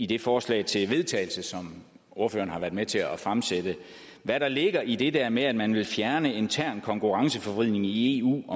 det forslag til vedtagelse som ordføreren var med til at fremsætte hvad ligger der i det der med at man vil fjerne intern konkurrenceforvridning i eu